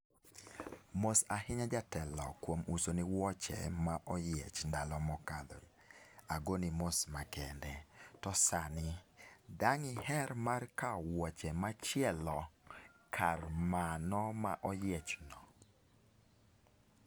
Mos ahinya jatelo kuom uso ni wuoche ma oyiech ndalo mokalo , agoni mos makende. To sani, dang' iher mar kawo wuoche machielo kar mano ma oyiech no.